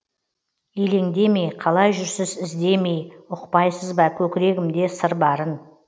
елеңдемей қалай жүрсіз іздемей ұқпайсыз ба көкірегімде сыр барын